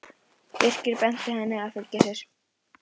Birkir benti henni að fylgja sér.